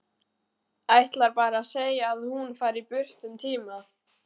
Ætlar bara að segja að hún fari burt um tíma.